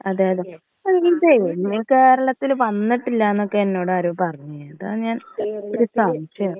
അതെ അതെ അല്ലെ ഇതേയ് കേരളത്തില് വന്നിട്ടില്ല എന്നൊക്കെ എന്നോട് ആരോ പറഞ്ഞ് അതാ ഞാൻ ഒരു സംശയം.